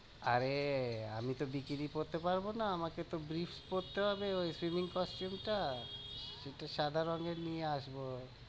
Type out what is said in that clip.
আরে আমি তো bikini পড়তে পারবো না, আমাকে তো পড়তে হবে ওই swimming costume টা একটু সাদা রঙের নিয়ে আসবো।